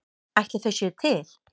Ætli þau séu til?